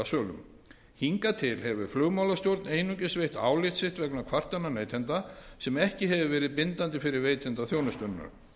ferðasölum hingað til hefur flugmálastjórn einungis veitt álit sitt vegna kvartana neytenda sem ekki hefur verið bindandi fyrir veitanda þjónustunnar